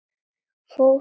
Fór ung að heiman.